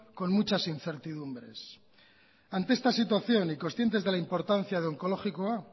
con muchas incertidumbres ante esta situación y conscientes de la importancia de onkologikoa